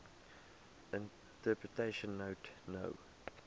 interpretation note no